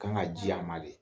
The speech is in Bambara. Kan ka ji a ma de